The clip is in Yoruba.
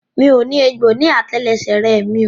Mi ò ní egbò ní àtẹlẹsẹ̀ rẹ mi o.